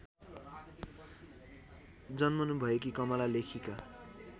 जन्मनुभएकी कमला लेखिका